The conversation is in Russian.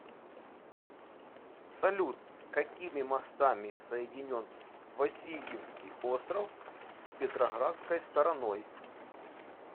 салют какими мостами соединен васильевский остров с петроградской стороной